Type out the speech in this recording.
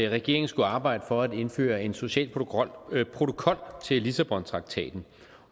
regeringen skulle arbejde for at indføre en social protokol protokol til lissabontraktaten